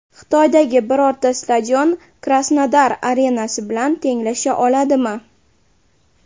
Xitoydagi birorta stadion Krasnodar arenasi bilan tenglasha oladimi?